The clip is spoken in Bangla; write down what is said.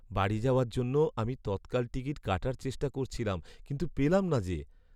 বাড়ি যাওয়ার জন্য আমি তৎকাল টিকিট কাটার চেষ্টা করছিলাম কিন্তু পেলাম না যে!